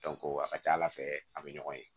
a ka ca ala fɛ a bɛ ɲɔgɔn ye